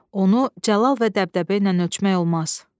Onu cəlal və dəbdəbə ilə ölçmək olmaz."